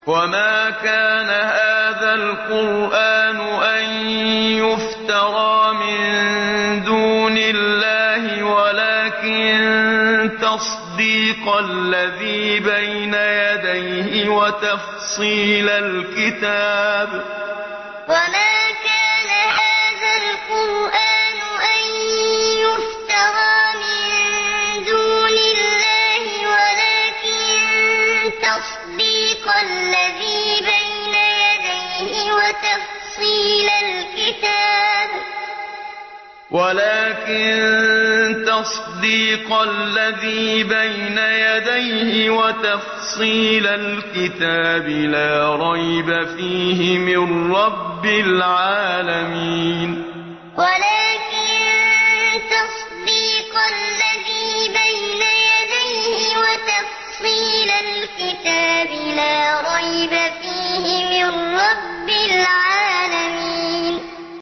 وَمَا كَانَ هَٰذَا الْقُرْآنُ أَن يُفْتَرَىٰ مِن دُونِ اللَّهِ وَلَٰكِن تَصْدِيقَ الَّذِي بَيْنَ يَدَيْهِ وَتَفْصِيلَ الْكِتَابِ لَا رَيْبَ فِيهِ مِن رَّبِّ الْعَالَمِينَ وَمَا كَانَ هَٰذَا الْقُرْآنُ أَن يُفْتَرَىٰ مِن دُونِ اللَّهِ وَلَٰكِن تَصْدِيقَ الَّذِي بَيْنَ يَدَيْهِ وَتَفْصِيلَ الْكِتَابِ لَا رَيْبَ فِيهِ مِن رَّبِّ الْعَالَمِينَ